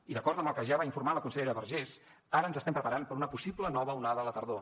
i d’acord amb el que ja va informar la consellera vergés ara ens estem preparant per a una possible nova onada a la tardor